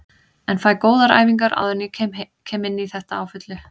En fæ góðar æfingar áður en ég kem inní þetta á fullu.